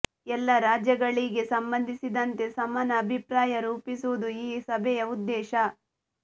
ಎಲ್ಲ ರಾಜ್ಯಗಳಿಗೆ ಸಂಬಂಧಿಸಿದಂತೆ ಸಮಾನ ಅಭಿಪ್ರಾಯ ರೂಪಿಸುವುದು ಈ ಸಭೆಯ ಉದ್ದೇಶ